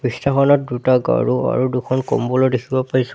দৃশ্যখনত দুটা গাৰু আৰু দুখন কম্বলো দেখিব পাইছোঁ।